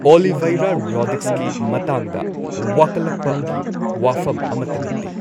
ꯑꯣꯂꯤꯚꯩꯔꯥ ꯔꯣꯗ꯭ꯔꯤꯛꯁꯀꯤ ꯃꯇꯥꯡꯗ ꯋꯥꯀꯠꯂꯛꯄꯒꯤ ꯋꯥꯐꯝ ꯑꯃꯠꯇ ꯂꯩꯇꯦ꯫